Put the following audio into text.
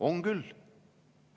On küll!